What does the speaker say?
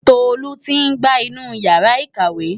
Tolu ti gbá inú Ìyàrá-ìkàwé.